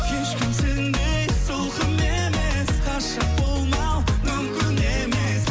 ешкім сендей сылқым емес ғашық болмау мүмкін емес